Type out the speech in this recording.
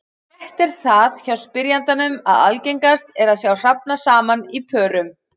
Rétt er það hjá spyrjandanum að algengast er að sjá hrafna saman í pörum.